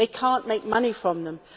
They cannot make money from them.